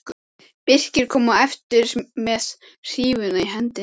Birkir kom á eftir með hrífuna í hendinni.